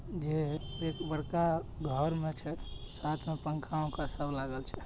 जे एक बड़का घर भर छे साथ में पंखा वनखा सब लागल छे।